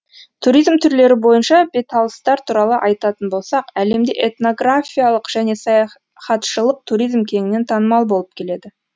туризм түрлері бойынша беталыстар туралы айтатын болсақ әлемде этнографиялық және саяхатшылық туризм кеңінен танымал болып келеді